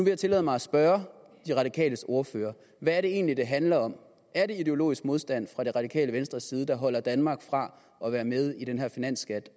jeg tillade mig at spørge de radikales ordfører hvad er det egentlig det handler om er det ideologisk modstand fra det radikale venstres side der afholder danmark fra at være med i den her finansskat